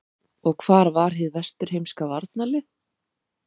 Og hvar var hið vesturheimska varnarlið?